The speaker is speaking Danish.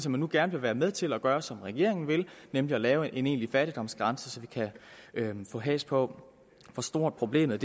at man nu gerne vil være med til at gøre som regeringen vil nemlig at lave en egentlig fattigdomsgrænse så vi kan få has på hvor stort problemet